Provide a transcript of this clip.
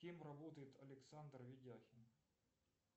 кем работает александр ведяхин